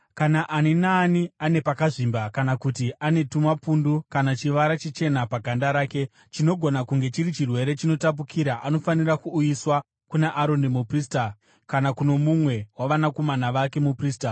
“Kana ani naani ane pakazvimba kana kuti ane tumapundu kana chivara chichena paganda rake chinogona kunge chiri chirwere chinotapukira anofanira kuuyiswa kuna Aroni muprista kana kuno mumwe wavanakomana vake muprista.